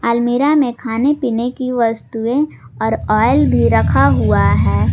अलमीरा में खाने पीने की वस्तुएं और ऑयल भी रखा हुआ है।